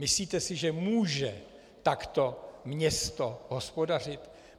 Myslíte si, že může takto město hospodařit?